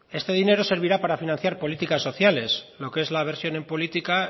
este dinero servirá para financiar políticas sociales lo que es la versión en política